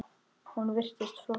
Hún virtist frosin.